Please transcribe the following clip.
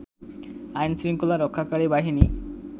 আইন-শৃঙ্খলা রক্ষাকারী বাহিনী